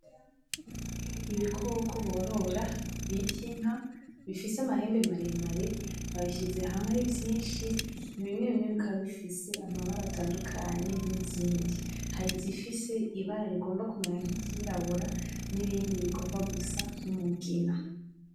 Ibikoko borora bita inka bifise amahembe maremare, babishize hamwe ari vyinshi bimwebimwe bikaba bifise amabara atandukanye nizindi , hari izifise ibara rigomba kumera nkiryirabura , nibindi bigomba gusa numugina .